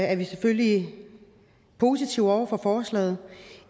er vi selvfølgelig positive over for forslaget